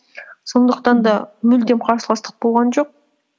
сондықтан да мүлдем қарсыластық болған жоқ